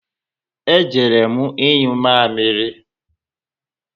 E jere m inyụ mamịrị